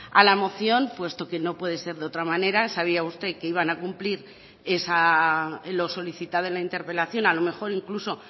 a la moción puesto que no puede ser de otra manera sabía usted que iban a cumplir lo solicitado en la interpelación a lo mejor incluso